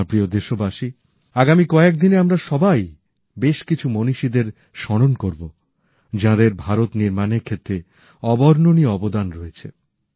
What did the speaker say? আমার প্রিয় দেশবাসী আগামী কয়েকদিনে আমরা সবাই বেশ কিছু মনীষীদের স্মরণ করব যাঁদের ভারত নির্মাণের ক্ষেত্রে অবর্ণনীয় অবদান রয়েছে